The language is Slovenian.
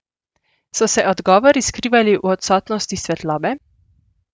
So se odgovori skrivali v odsotnosti svetlobe?